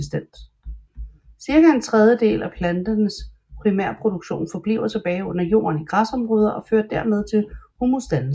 Cirka en tredjedel af planternes primærproduktion forbliver tilbage under jorden i græsområder og fører dermed til humusdannelse